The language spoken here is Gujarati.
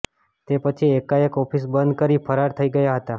તે પછી એકાએક ઓફિસ બંધ કરી ફરાર થઈ ગયા હતા